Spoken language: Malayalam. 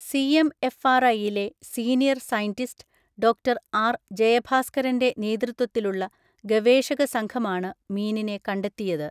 സിഎംഎഫ്ആർഐയിലെ സീനിയർ സയന്റിസ്റ്റ് ഡോക്ടർ ആർ ജയഭാസ്കരൻ്റെ നേതൃത്വിലുള്ള ഗവേഷക സംഘമാണ് മീനിനെ കണ്ടെത്തിയത്.